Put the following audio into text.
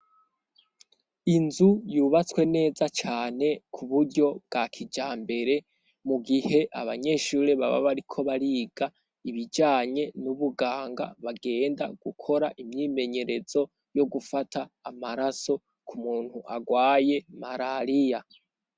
Inzu yubatswe neza cane ku buryo bwa kija mbere ,mu gihe abanyeshuri baba bariko bariga, ibijanye n'ubuganga bagenda gukora imyimenyerezo yo gufata amaraso ku muntu agwaye marariya .